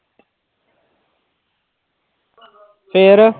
ਫਿਰ,